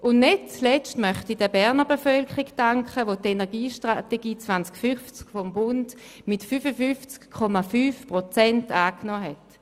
Und nicht zuletzt danke ich der Berner Bevölkerung, welche die Energiestrategie 2050 des Bundes mit 55,5 Prozent angenommen hat.